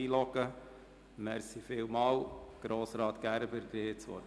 Könnte jemand Herrn Gerber einloggen?